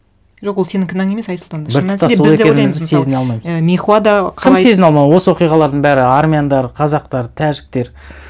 жоқ ол сенің кінәң емес айсұлтан сезіне алмаймыз і мейхуа да кім сезіне алмау осы оқиғалардың бәрі армяндар қазақтар тәжіктер